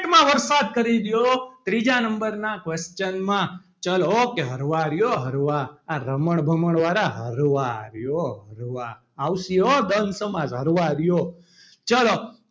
કરી દયો ત્રીજા number ના question માં ચલો okay હરવા રી હો હરવા આ રમણ ભમણ વાળા હરવા રી હો હરવા આવશે હો દ્રંધ સમાસ હરવા હારીયો.